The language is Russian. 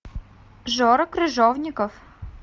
жора крыжовников